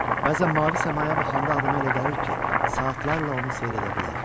Bəzən mavi səmaya baxanda adama elə gəlir ki, saatlarla onu seyr edə bilər.